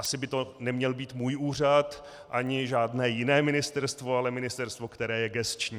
Asi by to neměl být můj úřad ani žádné jiné ministerstvo, ale ministerstvo, které je gesční.